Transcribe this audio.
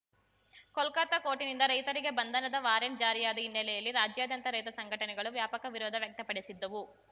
ಕೋಲ್ಕತಾ ಕೋರ್ಟಿನಿಂದ ರೈತರಿಗೆ ಬಂಧನದ ವಾರಂಟ್‌ ಜಾರಿಯಾದ ಹಿನ್ನೆಲೆಯಲ್ಲಿ ರಾಜ್ಯಾದ್ಯಂತ ರೈತ ಸಂಘಟನೆಗಳು ವ್ಯಾಪಕ ವಿರೋಧ ವ್ಯಕ್ತಪಡಿಸಿದ್ದವು